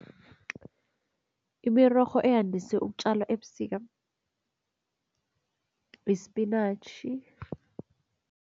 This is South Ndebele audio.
Imirorho eyandise ukutjalwa ebusika yispinatjhi.